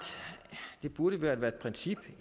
det burde være være et princip